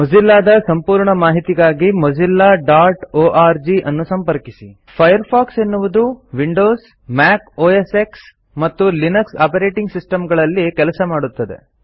Mozilla ದ ಸಂಪೂರ್ಣ ಮಾಹಿತಿಗಾಗಿ mozillaಒರ್ಗ್ ಅನ್ನು ಸಂಪರ್ಕಿಸಿ ಫೈರ್ಫಾಕ್ಸ್ ಎನ್ನುವುದು ವಿಂಡೋಸ್ ಮ್ಯಾಕ್ ಓಎಸ್ಎಕ್ಸ್ ಮತ್ತು ಲಿನಕ್ಸ್ ಆಪರೇಟಿಂಗ್ ಸಿಸ್ಟಮ್ ಗಳಲ್ಲಿ ಕೆಲಸ ಮಾಡುತ್ತದೆ